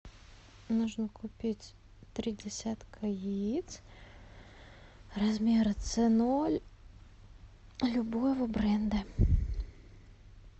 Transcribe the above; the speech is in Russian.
нужно купить три десятка яиц размер ц ноль любого бренда